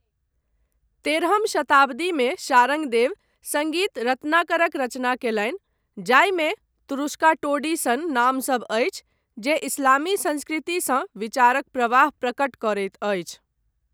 तेरहम शताब्दीमे शारङ्गदेव सङ्गीत रत्नाकरक रचना कयलनि, जाहिमे तुरुष्का टोडी सन नामसब अछि, जे इस्लामी संस्कृतिसँ विचारक प्रवाह प्रकट करैत अछि।